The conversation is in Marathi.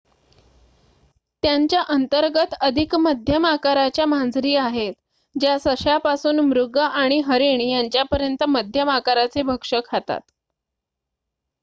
त्यांच्या अंतर्गत अधिक मध्यम आकाराच्या मांजरी आहेत ज्या सश्यापासून मृग आणि हरिण यांच्यापर्यंत मध्यम आकाराचे भक्ष्य खातात